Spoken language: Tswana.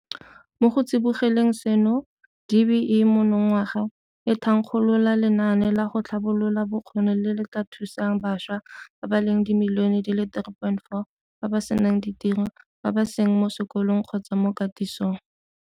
Mo go tsibogeleng seno, DBE monongwaga e thankgolola lenaane la go tlhabolola bokgoni le le tla thusang bašwa ba le dimilione di le 3.4 ba ba senang ditiro, ba ba seng mo sekolong kgotsa mo katisong.